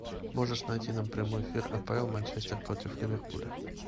можешь найти нам прямой эфир апл манчестер против ливерпуля